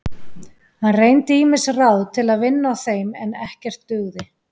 Hann reyndi ýmis ráð til að vinna á þeim en ekkert dugði.